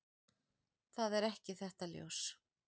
Það er ekki þetta ljós.